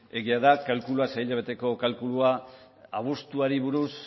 egia da sei hilabeteko kalkulua abuztuari buruz